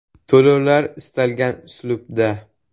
To‘lovlar istalgan uslubda.